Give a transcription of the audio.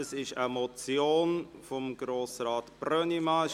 Es ist eine Motion von Grossrat Brönnimann.